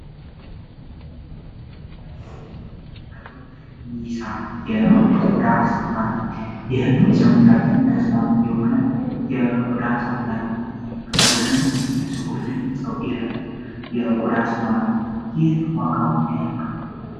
በምስል ላይ የምንመለከተው ኒሳ የቆዳ ሳሙና ነው ይህም ለሰውነታችን ተስማሚ የሆነ የቆዳ ሳሙና ነው ቆሻሻ የሚያስወገድል የቆዳ ሳሙና ነው ይህ ዋጋው ምን ያክል ነው?